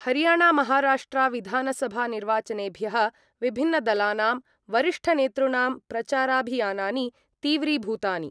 हरियाणामहाराष्ट्रविधानसभानिर्वाचनेभ्यः विभिन्नदलानां वरिष्ठनेतॄणां प्रचाराभियानानि तीव्रीभूतानि